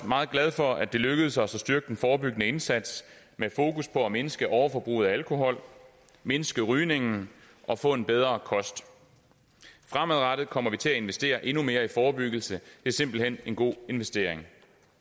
meget glad for at det også lykkedes os at styrke den forebyggende indsats med fokus på at mindske overforbruget af alkohol mindske rygningen og få en bedre kost fremadrettet kommer vi til at investere endnu mere i forebyggelse det er simpelt hen en god investering